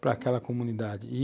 para aquela comunidade e,